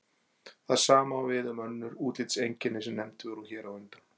Það sama á við um önnur útlitseinkenni sem nefnd voru hér á undan.